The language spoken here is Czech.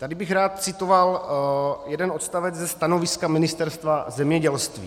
Tady bych rád citoval jeden odstavec ze stanoviska Ministerstva zemědělství.